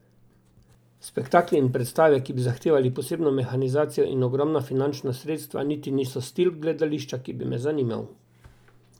Spektakli in predstave, ki bi zahtevali posebno mehanizacijo in ogromna finančna sredstva niti niso stil gledališča, ki bi me zanimal.